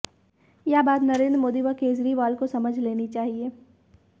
यह बात नरेन्द्र मोदी व केजरीवाल को समझ लेनी चाहिए